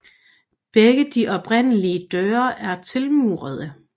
Begge de oprindelige døre er tilmurede